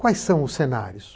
Quais são os cenários?